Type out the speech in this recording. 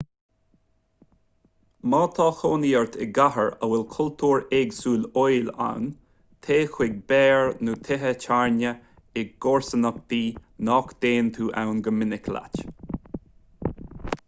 má tá cónaí ort i gcathair a bhfuil cultúr éagsúil óil ann téigh chuig beáir nó tithe tábhairne i gcomharsanachtaí nach dtéann tú ann go minic leat